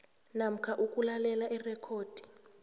namkha ukulalela irekhodi